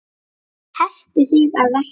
Hertu þig að verki!